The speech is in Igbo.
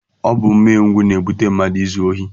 Ọ bụ umengwụ na-ebute mmadụ izu ohi